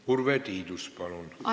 Urve Tiidus, palun!